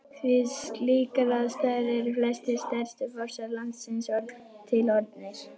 Við slíkar aðstæður eru flestir stærstu fossar landsins til orðnir.